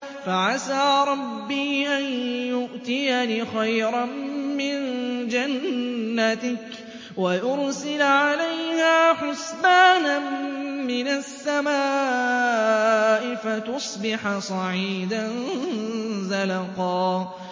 فَعَسَىٰ رَبِّي أَن يُؤْتِيَنِ خَيْرًا مِّن جَنَّتِكَ وَيُرْسِلَ عَلَيْهَا حُسْبَانًا مِّنَ السَّمَاءِ فَتُصْبِحَ صَعِيدًا زَلَقًا